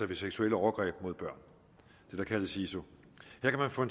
ved seksuelle overgreb mod børn det der kaldes siso her kan man få